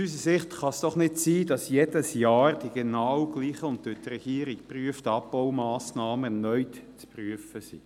Es kann nicht sein, dass nun jedes Jahr die genau gleichen und durch die Regierung bereits geprüften Abbaumassnahmen erneut zu prüfen sind.